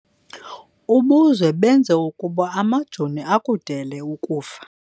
Ubuzwe benza ukuba amajoni akudele kufa.